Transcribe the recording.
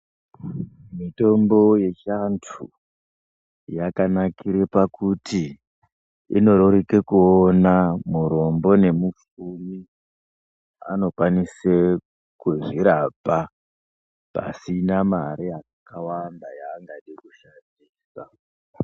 Mitombo yechiantu yakanakire pakuti inoreruke kuona. Murombo nemupfumi anokwanise kuzvirapa pasina mare yakawanda yaangade kushandisa.